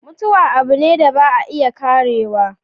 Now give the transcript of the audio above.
Mutuwa abu ne da ba a iya Karewa.